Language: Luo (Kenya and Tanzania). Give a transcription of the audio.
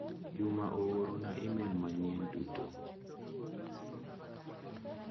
Juma oorona imel manyien duto.